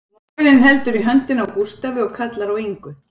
Móðirin heldur í höndina á Gústafi og kallar á Ingu